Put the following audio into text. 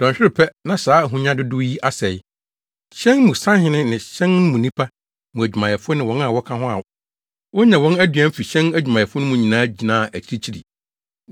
Dɔnhwerew pɛ, na saa ahonya dodow yi asɛe.’ “Hyɛn mu sahene ne hyɛn no mu nnipa, mu adwumayɛfo ne wɔn a wɔka ho a wonya wɔn anoduan fi hyɛn adwumayɛ mu no nyinaa gyinaa akyirikyiri.